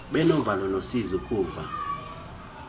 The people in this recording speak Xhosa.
benovalo nosizi ukuva